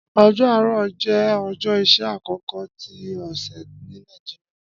Ọjọ Aarọ jẹ ọjọ iṣẹ akọkọ ti ọsẹ ni Nigeria.